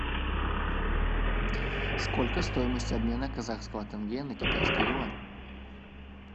сколько стоимость обмена казахского тенге на китайский юань